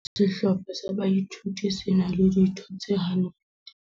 Sehlopha sa boithuto se na le ditho tse 100.